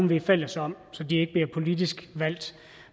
vi er fælles om så de ikke bliver politisk valgt